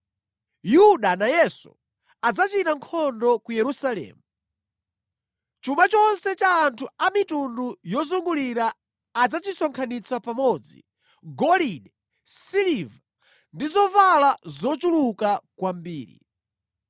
Yuda nayenso adzachita nkhondo ku Yerusalemu. Chuma chonse cha anthu a mitundu yozungulira adzachisonkhanitsa pamodzi; golide, siliva ndi zovala zochuluka kwambiri.